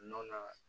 Nɔnɔ na